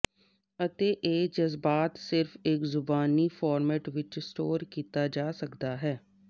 ਅਤੇ ਇਹ ਜਜ਼ਬਾਤ ਸਿਰਫ ਇੱਕ ਜ਼ੁਬਾਨੀ ਫਾਰਮੈਟ ਵਿੱਚ ਸਟੋਰ ਕੀਤਾ ਜਾ ਸਕਦਾ ਹੈ